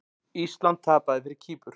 Ísland tapaði fyrir Kýpur